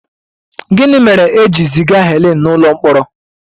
Gịnị mere e ji ziga Helen n'ụlọ mkpọrọ?